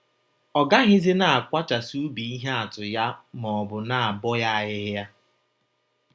Ọ gaghịzi na - akwachasị ubi ihe atụ ya maọbụ na - abọ ya ahịhịa.